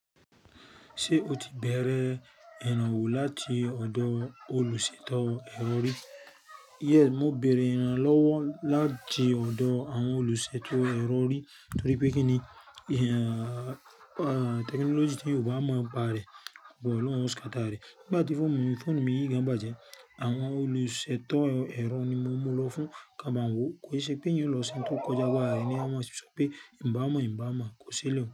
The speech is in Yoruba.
Ṣé o ti bẹ̀rẹ̀ ìrànwọ́ láti ọ̀dọ̀ olùṣètò ẹ̀rọ rì? Yes, mo bẹ̀rẹ̀ ìrànlọ́wọ́ láti ọ̀dọ̀ àwọn olùṣètò ẹ̀rọ rì, torípé kí ni? Tẹkinọ́lọ́gì tí èyàn ò bá mọ̀ nípé rẹ̀, bọ̀ lọ́hun yo scatter rẹ̀. Nígbà tí fóònù mi yí gan bàjẹ́, àwọn olùṣètò ẹ̀rọ ni mo lọ fún kí wọ́n bá ń wò ó, ko yi ṣe pé èyàn ọ lọ ṣe òun tí ó kọ́jà agbára rẹ̀, ní wọn má sọ wí pé, ǹ bá mọ̀, ǹ bá mọ̀, kò sílẹ̀